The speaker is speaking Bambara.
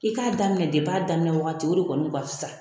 I k'a daminɛ depi a daminɛ wagati o de kɔni kun ka fisa.